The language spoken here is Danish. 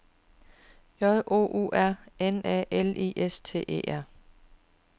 J O U R N A L I S T E R